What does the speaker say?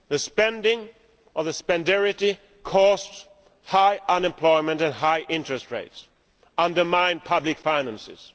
Spending or ʻspendarityʼ caused high unemployment and high interest rates and undermined public finances.